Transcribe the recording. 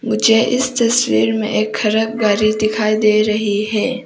मुझे इस तस्वीर में एक खराब गाड़ी दिखाई दे रही है।